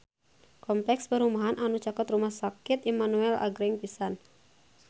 Kompleks perumahan anu caket Rumah Sakit Immanuel agreng pisan